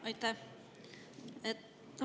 Aitäh!